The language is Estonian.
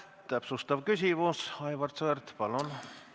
Täpsustav küsimus, Aivar Sõerd, palun!